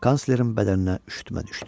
Kanslerin bədəninə üşütmə düşdü.